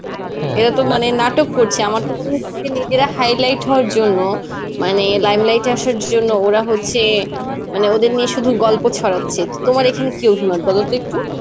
এরা তো মানে নাটক করছে. আমার তো মনে হচ্ছে নিজেরা highlight হওয়ার জন্যে মানে limelight এ আসার জন্যে ওরা হচ্ছে মানে ওদের নিয়ে শুধু গল্প ছড়াচ্ছে. তোমার এখানে কি অভিমত বলতো একটু.